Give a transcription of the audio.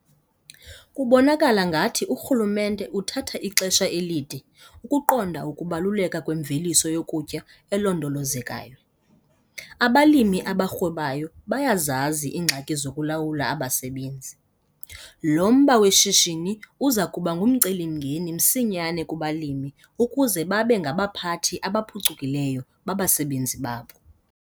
Kubonakala ngathi urhulumente uthatha ixesha elide ukuqondaa ukubaluleka kwemveliso yokutya elondolozekayo. Abalimi abarhwebayo bayazazi iingxaki zokulawula abasebenzi. Lo mba weshishini uza kuba ngumcelimngeni msinyane kubalimi ukuze babe ngabaphathi abaphucukileyo babasebenzi babo.